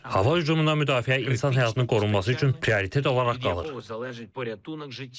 Hava hücumundan müdafiə insan həyatının qorunması üçün prioritet olaraq qalır.